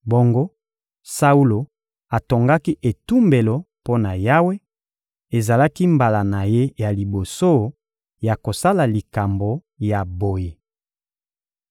Bongo Saulo atongaki etumbelo mpo na Yawe; ezalaki mbala na ye ya liboso ya kosala likambo ya boye.